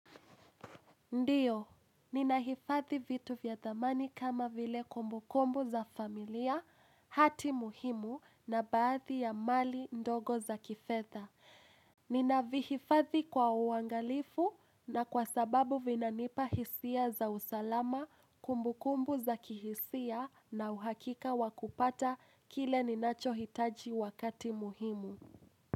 Ndiyo, ninahifadhi vitu vyathamani kama vile kumbukumbu za familia, hati muhimu na baadhi ya mali ndogo za kifedha. Ninavihifadhi kwa uangalifu na kwa sababu vinanipa hisia za usalama kumbukumbu za kihisia na uhakika wakupata kile ninacho hitaji wakati muhimu.